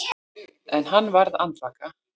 En hann varð andvaka.